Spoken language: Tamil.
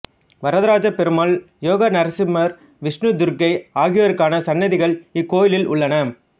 வரதராஜப் பெருமாள் யோக நரசிம்மர் விஷ்ணு துர்க்கை ஆகியோருக்கான சன்னதிகள் இக்கோயிலில் உள்ளன